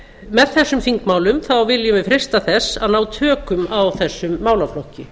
með þessum þingmálum viljum við freista þess að ná tökum á þessum málaflokki